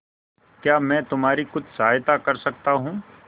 क्या मैं तुम्हारी कुछ सहायता कर सकता हूं